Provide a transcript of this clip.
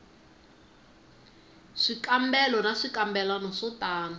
swikambelo na swikambelwana swo tano